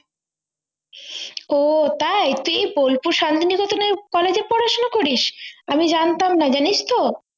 ও তাই তুই বোলপুর শান্তিনিকেতনের college এ পড়াশোনা করিস আমি জানতাম না জানিস তো